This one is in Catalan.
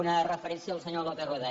una referència al senyor lópez rueda